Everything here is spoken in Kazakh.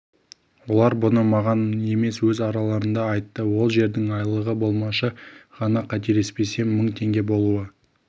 олар бұны маған емес өз араларында айтты ол жердің айлығы болмашы ғана қателеспесем мың теңге болуы